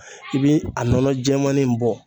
I bi a nɔnɔ jɛman nin bɔ